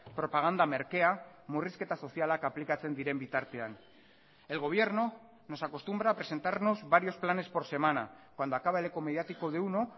propaganda merkea murrizketa sozialak aplikatzen diren bitartean el gobierno nos acostumbra a presentarnos varios planes por semana cuando acaba el eco mediático de uno